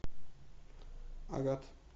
агат